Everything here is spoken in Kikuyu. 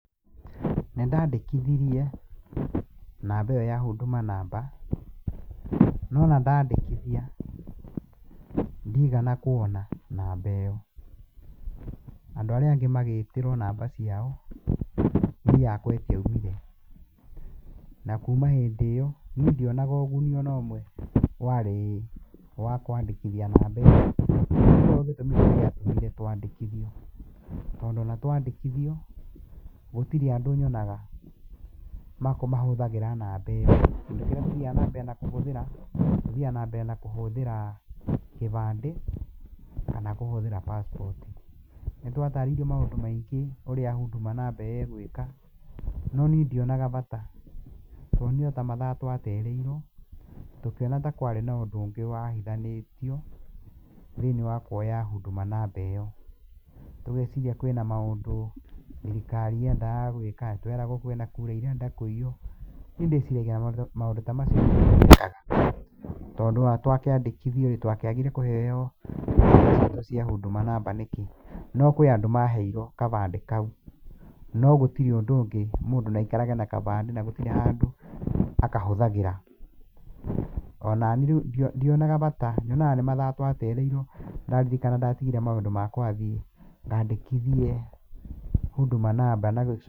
Nĩndandĩkithirie namba ĩyo ya Huduma namba, no ona ndandĩkithia ndigana kuona namba ĩyo. Andũ arĩa angĩ magĩtĩrwo namba ciao, niĩ yakwa ĩtiaumire. Na kuma hĩndĩ ĩyo, niĩ ndionaga ũguni onomwe warĩĩ, wa kwandĩkithia namba ĩyo. gĩatũmire twandĩkithio, tondũ ona twandĩkithio, gũtirĩ andũ nyonaga makũ mahũthagĩra namba ĩyo. Kĩndũ kĩrĩa tũthiaga na mbere na kũhũthĩra tũthiaga na mbere na kũhũthĩra kĩbandĩ, kana kũhũthĩra passport. Nĩtwatarĩirio maũndũ maingĩ ũrĩa Huduma namba ĩgũĩka, no niĩ ndionaga bata. Twonire ota mathaa twatereirwo, tũkĩona ta kwarĩ na ũndũ wahithanĩtio thĩinĩ wa kuoya Huduma namba ĩyo. Tũgeciria kwĩna maũndũ thirikari yendaga gwĩka, nĩtweragwo kwĩna kura irenda kũiywo. Niĩ ndĩciragia maũndũ ta macio, tondũ ona twakĩandĩkithio-rĩ, twakĩagire kũheo cia Huduma namba nĩkĩ? No kwĩ andũ maheirwo kabandĩ kau, no gũtirĩ ũndũ ũngĩ, mũndũ nĩaikarage na kabandĩ na gũtirĩ handũ akahũthagĩra. Onaniĩ rĩu ndionaga bata, nyonaga nĩ mathaa twatereirwo. Ndaririkana ndatigire maũndũ makwa thiĩ ngandĩkithie Huduma namba, na